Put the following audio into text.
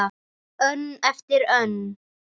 Önn eftir önn.